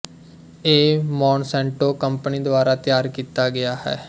ਇਹ Monsanto company ਦੁਆਰਾ ਤਿਆਰ ਕੀਤਾ ਗਿਆ ਹੈ